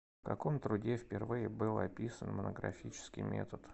в каком труде впервые был описан монографический метод